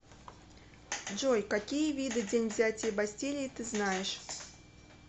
джой какие виды день взятия бастилии ты знаешь